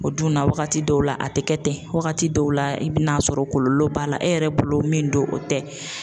O dun na wagati dɔw la a tɛ kɛ ten wagati dɔw la i bɛ n'a sɔrɔ kɔlɔlɔ b'a la e yɛrɛ bolo min do o tɛ.